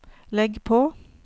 legg på